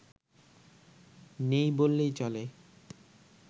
নেই বললেই চলে